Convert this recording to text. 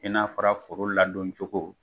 I n'a fɔra foro ladon cogo